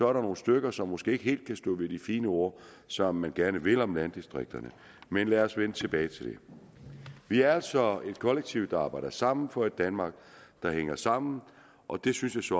er der nogle stykker som måske ikke helt kan stå ved de fine ord som man gerne vil sige om landdistrikterne men lad os vende tilbage til det vi er altså et kollektiv der arbejder sammen for et danmark der hænger sammen og det synes